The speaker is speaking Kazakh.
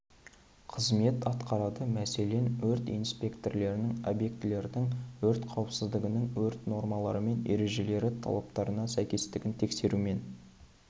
қызмет атқарады мәселен өрт инспекторының объекттердің өрт қауіпсіздігінің өрт нормалары мен ережелері талаптарына сәйкестігін тексерумен